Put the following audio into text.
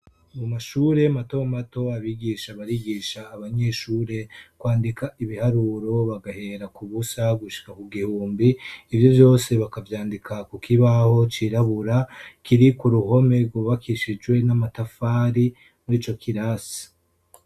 Mu mashure matomato, abigisha barigisha abanyeshure, kwandika ibiharuro, bagahera ku busa gushika ku gihumbi, ivyo vyose bakavyandika ku kibaho cirabura, kiri ku ruhome rwubakishijwe n'amatafari, muri ico kirasi.